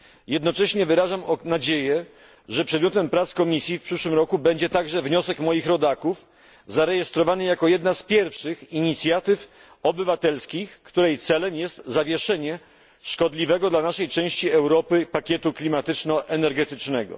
Jednocześnie wyrażam nadzieję, że przedmiotem prac Komisji w przyszłym roku będzie także wniosek moich rodaków zarejestrowany jako jedna z pierwszych inicjatyw obywatelskich, której celem jest zawieszenie szkodliwego dla naszej części Europy pakietu klimatyczno energetycznego.